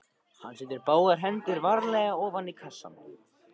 Hann setur báðar hendur varlega ofan í kassann.